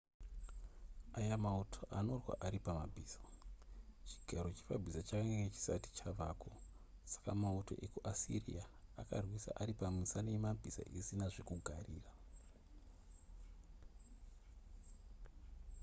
aya mauto anorwa ari pamabhiza chigaro chepabhiza chakanga chisati chavako saka mauto ekuasiriya akarwisa ari pamisana yemabhiza isina zvekugarira